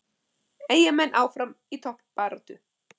Eyjamenn áfram í toppbaráttu